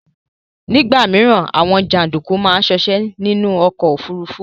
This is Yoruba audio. Nigba mi, Awon janduku maa sose ninu ọ̀kọ̀ ofúrúfú